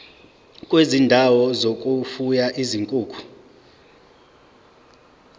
kwezindawo zokufuya izinkukhu